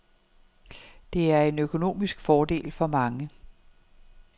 Det er en økonomisk fordel for mange.